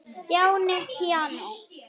Stjáni píanó